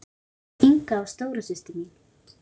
Inga var stóra systir mín.